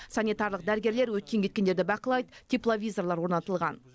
санитарлық дәрігерлер өткен кеткендерді бақылайды тепловизорлар орнатылған